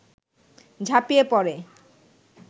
ঝাঁপিয়ে পড়ে